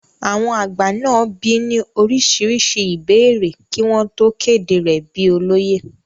àwọn àgbà náà bi í ní oríṣiríṣi ìbéèrè kí wọ́n tó kéde rẹ̀ bíi olóyè